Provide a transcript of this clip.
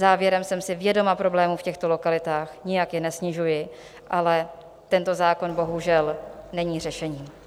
Závěrem: jsem si vědoma problémů v těchto lokalitách, nijak je nesnižuji, ale tento zákon bohužel není řešení.